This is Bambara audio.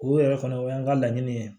O yɛrɛ fana o y'an ka laɲini ye